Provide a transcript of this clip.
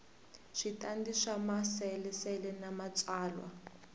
switandati swa maasesele na matsalwa